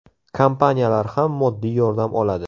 Kompaniyalar ham moddiy yordam oladi.